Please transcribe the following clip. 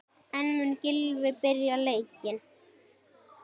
En mun Gylfi byrja leikinn?